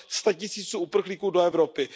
statisíců uprchlíků do Evropy.